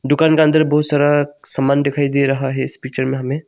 दुकान के अंदर बहुत सारा समान दिखाई दे रहा है इस पिक्चर में हमें।